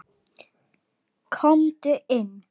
Komdu inn